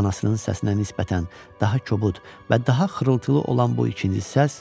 Anasının səsinə nisbətən daha kobud və daha xırıltılı olan bu ikinci səs